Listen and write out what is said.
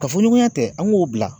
Kafoɲɔgɔnya tɛ an ŋ'o bila